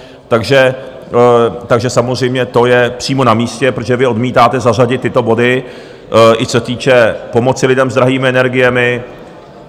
Takže samozřejmě to je přímo namístě, protože vy odmítáte zařadit tyto body, i co se týče pomoci lidem s drahými energiemi.